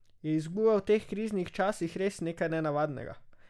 Je izguba v teh kriznih časih res nekaj nenavadnega?